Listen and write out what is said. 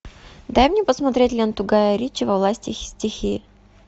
дай мне посмотреть ленту гая ричи во власти стихии